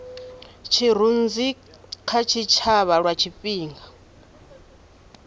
tshirunzi kha tshitshavha lwa tshifhinga